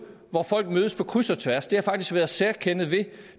hvor folk mødes på kryds og tværs det har faktisk været et særkende ved